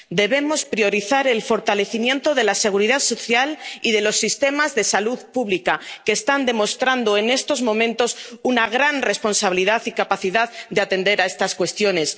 cifra. Debemos priorizar el fortalecimiento de la seguridad social y de los sistemas de salud pública, que están demostrando en estos momentos una gran responsabilidad y capacidad de atender a estas cuestiones.